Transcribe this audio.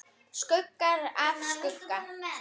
Skuggar af skugga.